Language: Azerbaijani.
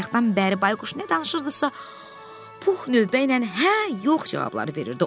Bayaqdan bəri bayquş nə danışırdısa, Pux növbəylə hə, yox cavabları verirdi.